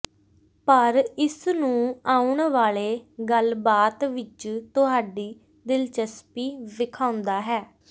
ਪਰ ਇਸ ਨੂੰ ਆਉਣ ਵਾਲੇ ਗੱਲਬਾਤ ਵਿੱਚ ਤੁਹਾਡੀ ਦਿਲਚਸਪੀ ਵੇਖਾਉਦਾ ਹੈ